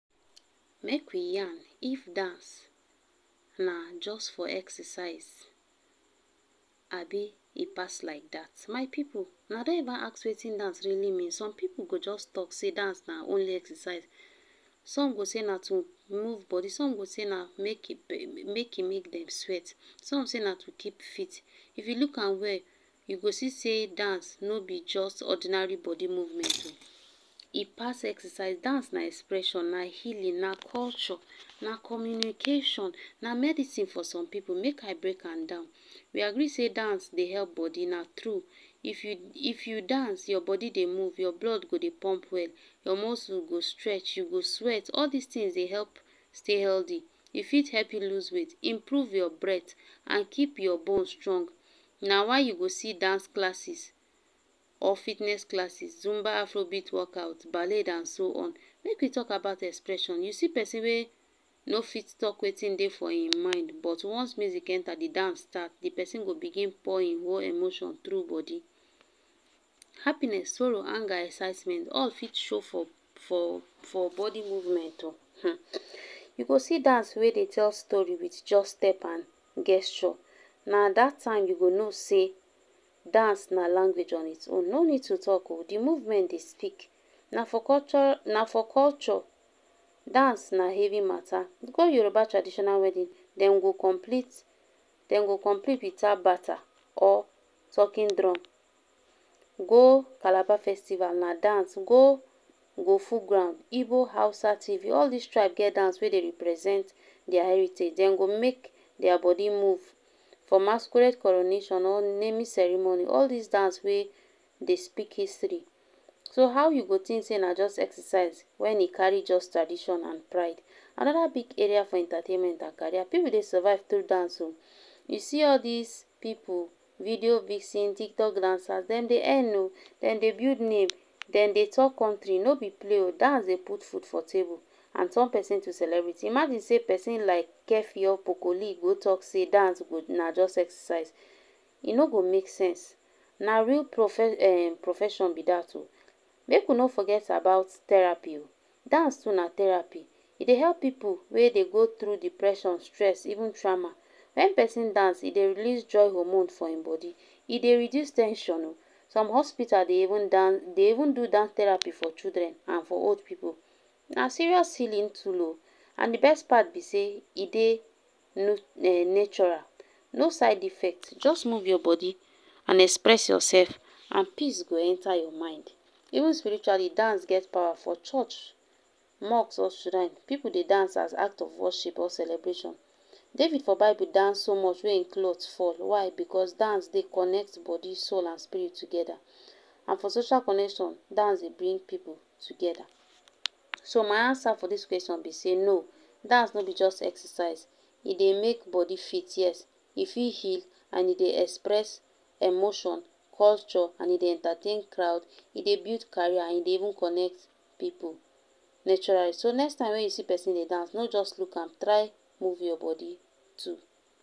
Make we yarn if dance na jus for exercise Abi e pass like dat, my pipu una don ever ask Wetin dance really mean, some pipu go jus talk say dance na only exercise, some go say na to move body some go say na make e make e make dem sweat, some say na to keep fit, if u look am well I go see sey dance no b just ordinary body movement o e pass exercise, dance na expression, na healing, na culture na communication, na medicine for some pipu make I break am down, we agree sey Dance dey help body, na tru, if u if u dance your body Dey move, your blood go dey pump well, your muscle go move u go stretch, all dis ton dey help stay healthy, e fit help u lose weight, improve your breath and keep your bone strong, na why u go see dance classes, or fitness classes, zumba afrobeat workout, balle and so on. Make we talk about expression, u see persin wey no fit talk Wetin dey for hin mind but once music enter d dance start d persin go begin pour hin whole emotion tru body, happiness, sorrow anger, excitement all fit show for for body movement o, um u go see dance wey dey tell story with just step and gesture na dat time u go know say dance na language on its own, no need to talk o d movement, dey speak na for culture, na for culture dance na heavy mata, com Yoruba traditional wedding dem go complete Dem go compete with um bata or talking drum, go calabar festival na dance go go full ground, Igbo Hausa, tiv all dis tribe get dance wey dey represent their heritage dem go make their body move from masquerade coronation or naming ceremony all dis dance wey Dey speak history, so how yo go think sey na jus exercise wen e carry jus tradition and pride. Anoda big entertainment and career, pipu Dey survive thru dance oh, u see all dis pipu video vixen, TikTok dancers dem dey earn o, dem dey build name, dem dey top country, ni b place o dance Dey put food for table and turn person to celebrity, imagine sey persin like keffi or pocolee go talk say dance na just exercise, e no go make sense, na real um profession b dat o. Make we no forget about therapy o, dance too na therapy, e dey help pipu wey Dey go thru depression stress, even trauma, wen persin dance e dey release joy homornes for hin body e dey reduce ten sion oh, some hospital dey even do dance therapy for children and for old pipu, na serious healing tool o, and d best part b say e dey natural, no side effect jus move your body and express yourself and peace go enter your mind, even spiritually dance get power for church, mosque or shrine, pipu Dey dance as act of worship or celebration. David for bible dance so much wen hin cloth fall why? Because dance Dey connect body soul and spirit together, and for social connection dance Dey bring pipu together ,so my answer for dis question b say no dance no b only jus exercise e dey make body fit yes, e fit heal and e dey express emotions, culture and e dey entertain crowd, e dey build career and e dey even connect pipu naturally. So next time wey y see persin Dey dance no just look am, try move body too.